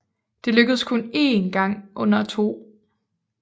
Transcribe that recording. Det lykkedes kun én gang under 2